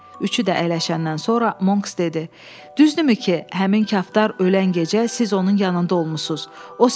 Üçü də əyləşəndən sonra Monks dedi: “Düzdürmü ki, həmin kaftar ölən gecə siz onun yanında olmusunuz?